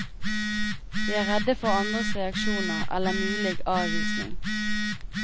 Vi er redde for andres reaksjoner eller mulige avvisning.